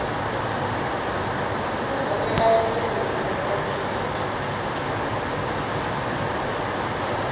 ngekuvotela licembu lepolitiki